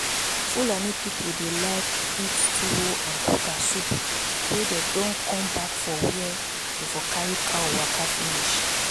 fulani people dey like eat tuwo and kuka soup wen dem don come back for where dey for carry cow waka finish